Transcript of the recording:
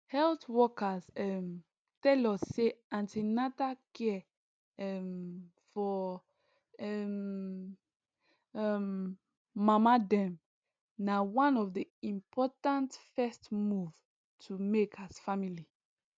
health workers um tell us say an ten atal care um for um um mama dem na one of the important first move to make as family